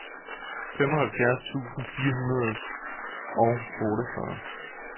femoghalvfjerds tusind fire hundrede og otteogfyrre